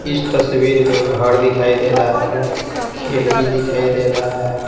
इस तस्वीर में घर दिखाई दे रहा है खिड़की दिखाई दे रहा है।